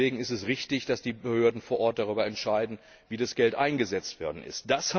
Deswegen ist es richtig, dass die Behörden vor Ort darüber entscheiden, wie das Geld einzusetzen ist.